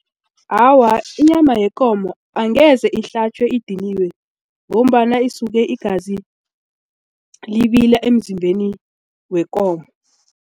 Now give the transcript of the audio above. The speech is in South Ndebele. Awa, inyama yekomo angeze ihlatjwe idiniwe ngombana isuke igazi libila emzimbeni wekomo.